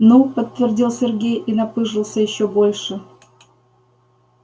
ну подтвердил сергей и напыжился ещё больше